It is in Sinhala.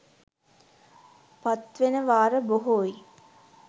පත්වෙන වාර බොහෝයි